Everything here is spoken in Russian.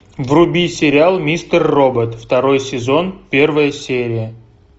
вруби сериал мистер робот второй сезон первая серия